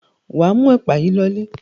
Wà á mú ẹ̀pà yìí lọlé.